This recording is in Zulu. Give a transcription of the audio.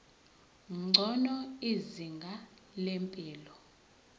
ngcono izinga lempilo